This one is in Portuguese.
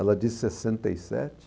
Ela disse sessenta e sete.